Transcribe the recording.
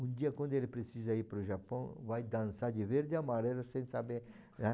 Um dia quando ele precisa ir para o Japão, vai dançar de verde e amarelo sem saber